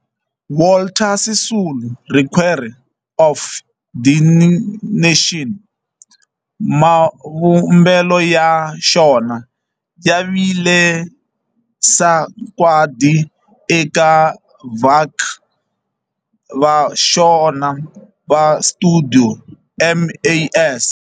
Walter Sisulu Square of Dedication, mavumbelo ya xona ya vile sagwadi eka vaaki va xona va stuidio MAS.